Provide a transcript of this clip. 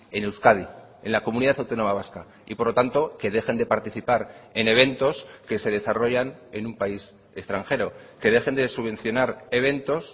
en euskadi en la comunidad autónoma vasca y por lo tanto que dejen de participar en eventos que se desarrollan en un país extranjero que dejen de subvencionar eventos